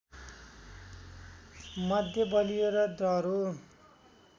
मध्ये बलियो र दह्रो